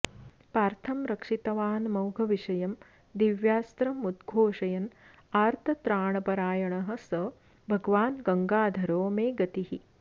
पार्थं रक्षितवानमोघविषयं दिव्यास्त्रमुद्घोषयन् आर्तत्राणपरायणः स भगवान् गङ्गाधरो मे गतिः